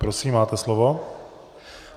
Prosím, máte slovo.